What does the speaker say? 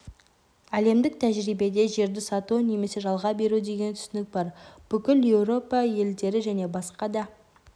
әлемдік тәжірибеде жерді сату немесе жалға беру деген түсінік бар бүкіл еуропа елдері және басқа да